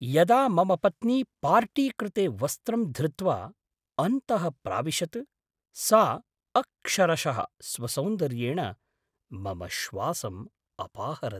यदा मम पत्नी पार्टि कृते वस्त्रं धृत्वा अन्तः प्राविशत्, सा अक्षरशः स्वसौन्दर्येण मम श्वासम् अपाहरत्।